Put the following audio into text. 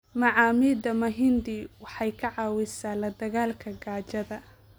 Macaamida mahindi waxay ka caawisaa la dagaallanka gaajada.